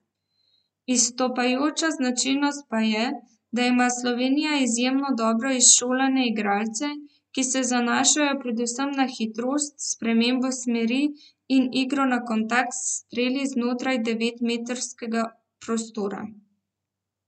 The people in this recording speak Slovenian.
Izstopajoča značilnost pa je, da ima Slovenija izjemno dobro izšolane igralce, ki se zanašajo predvsem na hitrost, spremembo smeri in igro na kontakt s streli znotraj devetmetrskega prostora.